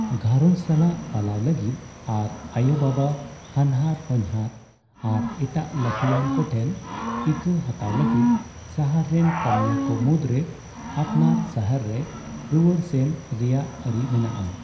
ᱜᱷᱟᱨᱚᱧᱡᱽ ᱥᱟᱞᱟᱜ ᱯᱟᱞᱟᱣ ᱞᱟᱹᱜᱤᱫ ᱟᱨ ᱟᱭᱳᱼᱵᱟᱵᱟ, ᱦᱟᱱᱦᱟᱨᱼᱦᱚᱧᱦᱟᱨ ᱟᱨ ᱮᱴᱟᱜ ᱞᱟᱹᱴᱩᱣᱟᱱ ᱠᱚᱴᱷᱮᱱ ᱤᱠᱟᱹ ᱦᱟᱛᱟᱣ ᱞᱟᱹᱜᱤᱫ ᱥᱟᱦᱟᱨ ᱨᱮᱱ ᱠᱟᱹᱢᱤᱭᱟᱹ ᱠᱚ ᱢᱩᱫᱽ ᱨᱮ ᱟᱯᱱᱟᱨ ᱥᱟᱦᱟᱨ ᱨᱮ ᱨᱩᱣᱟᱹᱲ ᱥᱮᱱ ᱨᱮᱭᱟᱜ ᱟᱹᱨᱤ ᱢᱮᱱᱟᱜᱼᱟ ᱾